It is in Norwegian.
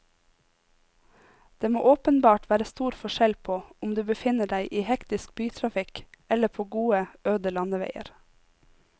Det må åpenbart være stor forskjell på om du befinner deg i hektisk bytrafikk eller på gode, øde landeveier.